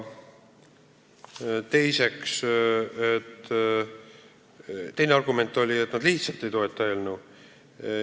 Teine argument oli, et nad lihtsalt ei toeta eelnõu.